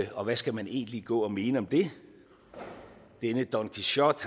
og hvad skal man egentlig gå og mene om det denne don quixote